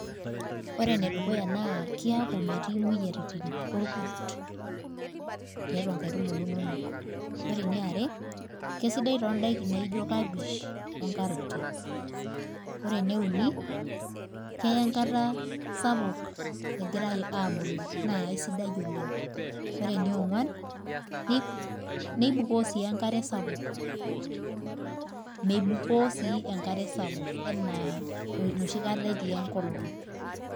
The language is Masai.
Ore enedukuya naa keaku imetii imoyiaritin orkurt tiatua inkaitubuu inonok. Ore eniare keisidai too ndaiki naijio kapej onkaroti Ore eneuni keya enkara sapuk egira aabulu naa eisidai ina. Ore eneonguan neibukoo sii enkare sapuk, meibukoo sii enkare sapuk anaa enoshi kata etii enkolong.